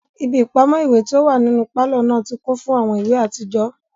Ibi ipamọ iwe ti o wa ninu palọ naa ti kun fun awọn iwe atijọ